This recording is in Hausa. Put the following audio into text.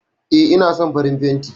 E, ina son farin fanti